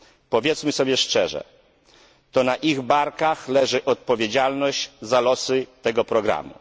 Powiedzmy sobie szczerze to na ich barkach leży odpowiedzialność za losy tego programu.